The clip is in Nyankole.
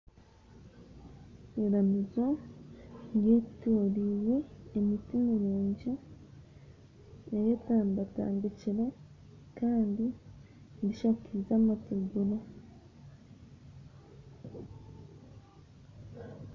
Iramizo ryetoroirwe emiti mirungi eyetambatabikiire kandi rishakaize amategura.